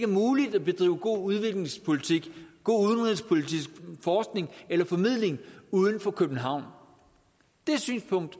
muligt at bedrive god udviklingspolitik god udenrigspolitisk forskning eller formidling udenfor københavn det synspunkt